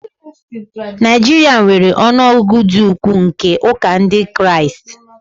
Nigeria nwere ọnụ ọgụgụ dị ukwuu nke ụka Ndị Kraịst